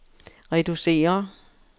reducere